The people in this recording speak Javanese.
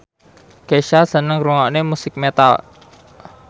Kesha seneng ngrungokne musik metal